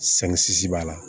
b'a la